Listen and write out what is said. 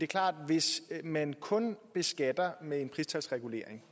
klart at hvis man kun beskatter med en pristalsregulering